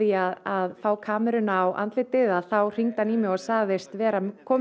að fá kameruna á andlitið þá hringdi hann í mig og sagðist vera kominn